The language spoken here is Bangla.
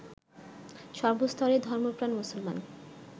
সর্বস্তরের ধর্মপ্রাণ মুসলমান